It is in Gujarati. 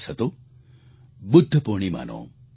તે દિવસ હતો બુદ્ધ પૂર્ણિમાનો